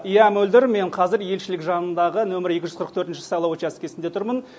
иә мөлдір мен қазір елшілік жанындағы нөмірі екі жүз қырық төртінші сайлау учаскесінде тұрмын